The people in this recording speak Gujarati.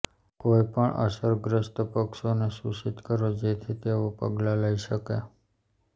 કોઈપણ અસરગ્રસ્ત પક્ષોને સૂચિત કરો જેથી તેઓ પગલાં લઈ શકે